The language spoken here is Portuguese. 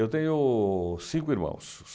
Eu tenho cinco irmãos.